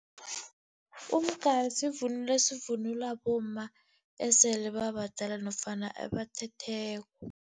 Umgari sivunulo esivunulwa bomma esele babadala nofana ebathethweko.